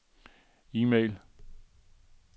e-mail